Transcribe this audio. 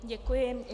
Děkuji.